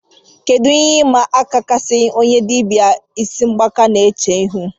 Kedu ihe ịma aka kasịnụ onye dibịa ịsị mgbaka na-eche ihu